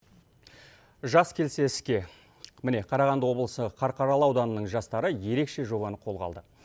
жас келсе іске міне қарағанды облысы қарқаралы ауданының жастары ерекше жобаны қолға алды